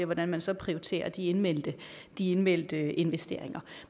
hvordan man så prioriterer de indmeldte de indmeldte investeringer